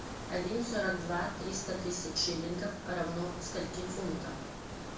один сорок два триста тысяч шиллингов равно скольки фунтам